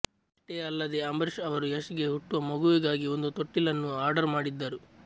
ಅಷ್ಟೇ ಅಲ್ಲದೆ ಅಂಬರೀಶ್ ಅವರು ಯಶ್ ಗೆ ಹುಟ್ಟುವ ಮಗುವಿಗಾಗಿ ಒಂದು ತೊಟ್ಟಿಲನ್ನೂ ಆರ್ಡರ್ ಮಾಡಿದ್ದರು